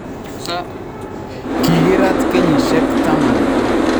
Kigiraat kenyishek taman